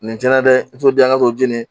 Nin cɛn na dɛ n t'o di yan ka to jeni